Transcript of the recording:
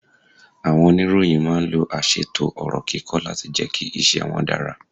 Àwọn oníròyìn máa ń lo aṣètò ọ̀rọ̀ kíkọ láti jẹ́ kí iṣẹ́ wọn dára.